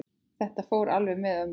Þetta fór alveg með ömmu.